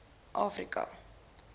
afrika